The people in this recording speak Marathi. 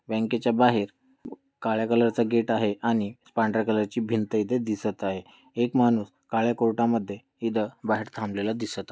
बँकेच्या बाहेर काळ्या कलर च गेट आहे आणि पांढऱ्या कलर ची भींत इथे दिसत आहे एक माणूस काळ्या कोर्टामध्ये इथ बाहेर थांबलेला दिसत--